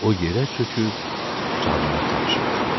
O yerə çöküb canını tapşırdı.